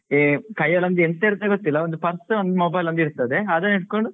A ಕೈಯಲ್ಲೊಂದ್ ಎಂತ ಇರತ್ತೆಂತ ಗೊತ್ತಿಲ್ಲ, ಒಂದು purse ಒಂದು mobile ಇರ್ತದೆ ಅದನ್ನು ಹಿಡ್ಕೊಂಡು